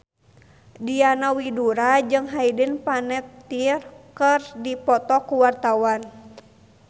Diana Widoera jeung Hayden Panettiere keur dipoto ku wartawan